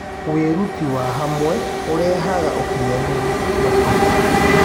Wĩrũtĩ wa hamwe ũrehaga ũkĩnyanĩrũ makĩrĩa